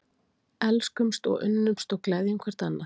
Elskumst og unnumst og gleðjum hvert annað.